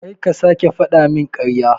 Karka sake fadamin karya.